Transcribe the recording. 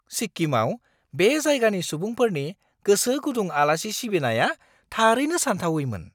सिक्किमाव बे जायगानि सुबुंफोरनि गोसो-गुदुं आलासि सिबिनाया थारैनो सानथावैमोन!